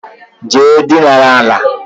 Jee dina àlà